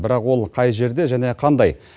бірақ ол қай жерде және қандай